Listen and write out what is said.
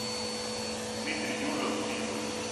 дмитрий дюжев фильмы